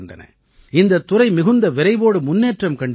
இந்தத் துறை மிகுந்த விரைவோடு முன்னேற்றம் கண்டு வருகிறது